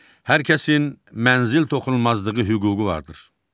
Hər kəsin mənzil toxunulmazlığı hüququ vardır.